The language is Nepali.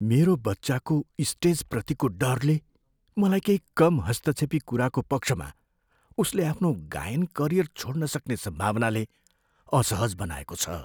मेरो बच्चाको स्टेजप्रतिको डरले मलाई केही कम हस्तक्षेपी कुराको पक्षमा उसले आफ्नो गायन करियर छोड्न सक्ने सम्भावनाले असहज बनाएको छ।